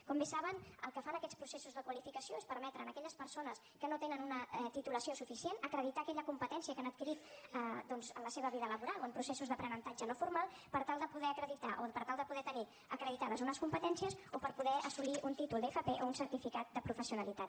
com bé saben el que fan aquests processos de qualificació és permetre a aquelles persones que no tenen una titulació suficient acreditar aquella competència que han adquirit doncs en la seva vida laboral o en processos d’aprenentatge no formal per tal de poder acreditar o per tal de poder tenir acreditades unes competències o per poder assolir un títol d’fp o un certificat de professionalitat